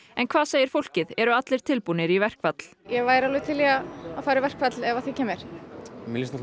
en hvað segir fólkið eru allir tilbúnir í verkfall ég væri alveg til í að fara í verkfall ef að því kemur mér líst